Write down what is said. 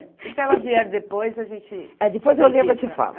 E se ela vier depois, a gente... É, depois eu lembro e te falo.